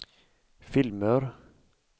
filmer